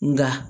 Nka